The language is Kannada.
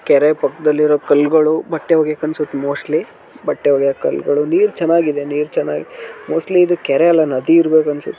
ಕೆರೆ ಪಕ್ಕದಲ್ಲಿರುವ ಪಾಕದಲಿ ಇರುವ ಕಲ್ಲು ಗಳು ಬಟ್ಟೆ ಒಗಿಯಕ್ಕೆ ಅನ್ಸುತ್ತೆ ಮೋಸ್ಟ್ಲಿ ಬಟ್ಟೆ ಒಗಿಯೋ ಕಲ್ಲುಗಳು ನೀರು ಚೆನ್ನಾಗಿದೆ ನೀರ ಚನ್ನಾಗಿ ಮೋಸ್ಟ್ಲಿ ಇದು ಕೆರೆಯಲ್ಲ ನದಿ ಇರ್ಬೇಕು ಅನ್ಸುತ್ತೆ.